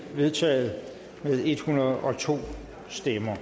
vedtaget med en hundrede og to stemmer